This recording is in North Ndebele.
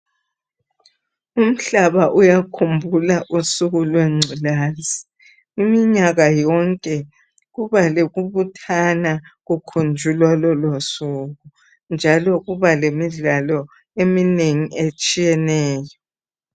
Umhlaba uyakhumbula usuku lwengculazi, iminyaka yonke kuba lokubuthana kukhunjulwa lolosuku njalo kuba lemidlalo eminengi etshiyeneyo.